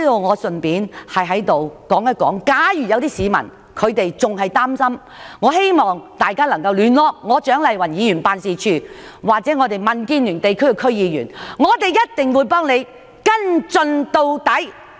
我在此順帶一提，假如有市民仍然感到擔憂，我希望他們聯絡蔣麗芸議員辦事處或民主建港協進聯盟的區議員，我們必定會幫他們跟進到底。